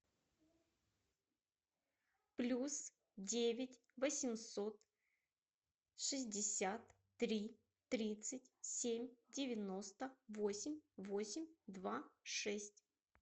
плюс девять восемьсот шестьдесят три тридцать семь девяносто восемь восемь два шесть